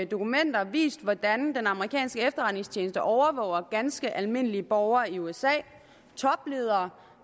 dokumenter vist hvordan den amerikanske efterretningstjeneste overvåger ganske almindelige borgere i usa og topledere